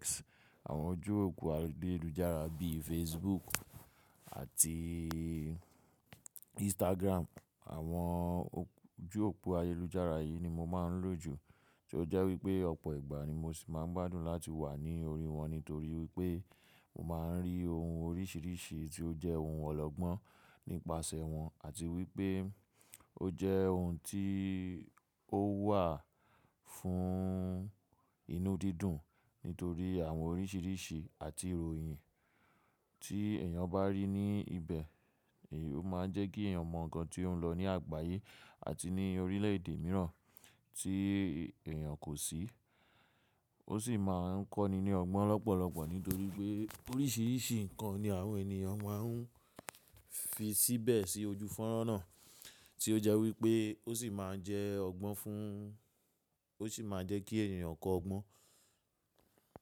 X, àwọn ojú òpó ayélujára bí i Facebook àti Instagram. Àwọn ojú òpó ayélujára yìí ni mo máa ń lò jù tí ó jẹ́ wípé ọ̀pọ̀ ìgbà ni mo sì máa ń gbádùn láti wà ní orí wọn. Nítorí wípé mo máa ń rí ohun oríṣìíríṣìí tí ó jẹ́ ohun ọlọ́gbọ́n nípasẹ̀ wọn àti wípé ó jẹ́ ohun tí ó wà fún inú dídùn nítorí àwọn oríṣìíríṣìí àti ìròyìn tí èèyàn bá rí ní ibẹ̀. Ó máa ń jẹ́ kí èèyàn mọ̀ ǹkan tí ó ń lọ ní àgbáyé àti ní orílẹ̀ èdè mìíràn tí èèyàn kò sí. Ó sì máa ń kọ́ni ní ọgbọ́n lọ́pọ̀lọ́pọ̀ nítorí pé oríṣìíríṣìí ǹkan ni àwọn èèyàn máa ń fi síbẹ̀ sí ojú fọ́nrán náà tí ó jẹ́ wípé ó sì máa ń jẹ́ ọgbọ́n fún, ó sì máa ń jẹ́ kí èèyàn kọ́ ọgbọ́n.